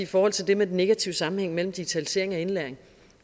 forhold til det med den negative sammenhæng mellem digitalisering af indlæring